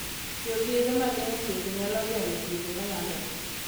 Tiyo gi yedhe mag geng'o tuwoche nyalo geng'o tuoche ma landore.